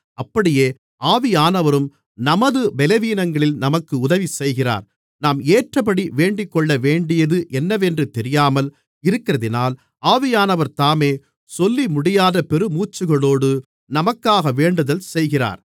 அப்படியே ஆவியானவரும் நமது பலவீனங்களில் நமக்கு உதவிசெய்கிறார் நாம் ஏற்றபடி வேண்டிக்கொள்ளவேண்டியது என்னவென்று தெரியாமல் இருக்கிறதினால் ஆவியானவர்தாமே சொல்லிமுடியாத பெருமூச்சுகளோடு நமக்காக வேண்டுதல்செய்கிறார்